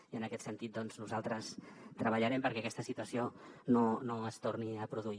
i en aquest sentit doncs nosaltres treballarem perquè aquesta situació no es torni a produir